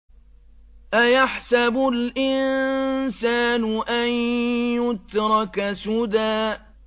أَيَحْسَبُ الْإِنسَانُ أَن يُتْرَكَ سُدًى